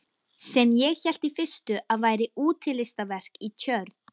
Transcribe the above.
Sem ég hélt í fyrstu að væri útilistaverk í tjörn.